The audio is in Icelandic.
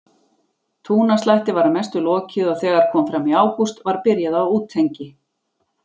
Túnaslætti var að mestu lokið og þegar kom fram í ágúst var byrjað á útengi.